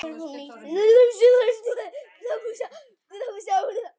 Er það nú ekki ofsagt?